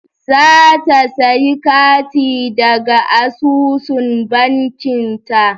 Za ta sayi kati daga asusun bankinta.